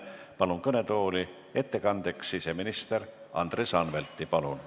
Palun kõnetooli ettekandeks siseminister Andres Anvelti!